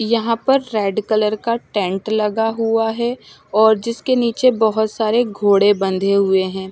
यहाँ पर red colour का टेंट लगा हुआ है और जिसके निचे बोहोत सारे घोड़े बंधे हुए है।